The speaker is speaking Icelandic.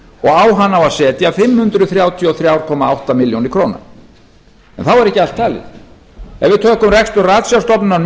á hann á að setja fimm hundruð þrjátíu og þrjú komma átta milljónir króna en þá er ekki allt talið ef við tökum rekstur ratsjárstofnunar